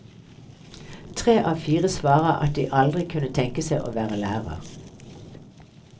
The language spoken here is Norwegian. Tre av fire svarer at de aldri kunne tenke seg å være lærer.